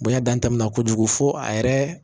Bonya dan tɛmɛna kojugu fo a yɛrɛ